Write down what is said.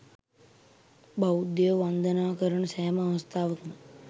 බෞද්ධයෝ වන්දනා කරන සෑම අවස්ථාවකම